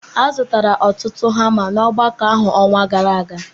A zụtara ọtụtụ hama na ogbako ahụ n'ọnwa gara aga